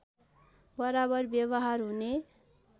बराबर व्यवहार हुने